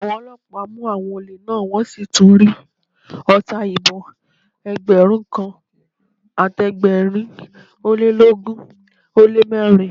Àwọn ọlọ́pàá mú àwọn olè náà, wọn sì tún rí ọta ìbọn Ẹgbẹ̀rún kan àti ẹgbẹ̀rin ólélógún ó lé mẹ́rin.